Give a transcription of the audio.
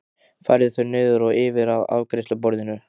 Færði þau niður og yfir að afgreiðsluborðinu.